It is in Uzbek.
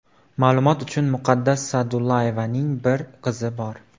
Ma’lumot uchun, Muqaddas Sa’dullayevaning bir qizi bor .